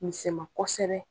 Misɛn ma kɔsɛbɛ.